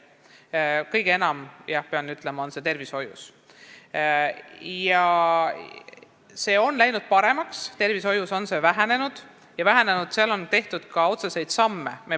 Pean ütlema, et kõige enam on lahkujaid tervishoius, aga olukord on läinud paremaks: tervishoiuski on see protsent vähenenud ja selleks on tehtud ka otseseid samme.